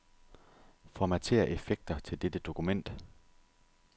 Formatér effekter til dette dokument.